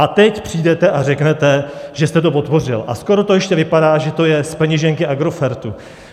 A teď přijdete a řeknete, že jste to podpořil - a skoro to ještě vypadá, že to je z peněženky Agrofertu.